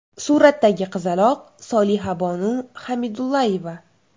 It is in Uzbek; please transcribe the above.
Suratdagi qizaloq Solihabonu Xamidulayeva.